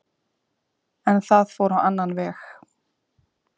En það fór á annan veg